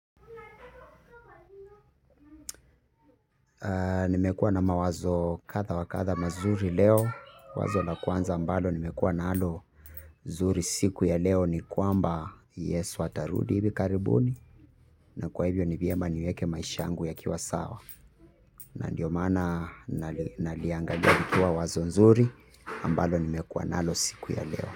Nimekuwa na mawazo kadha wa kadha mazuri leo. Wazo la kwanza ambalo nimekuwa nalo zuri siku ya leo ni kwamba Yesu atarudi hivi karibuni. Na kwa hivyo ni vyema niweke maisha yangu yakiwa sawa. Na ndio maana naliangalia likiwa wazo nzuri ambalo nimekuwa nalo siku ya leo.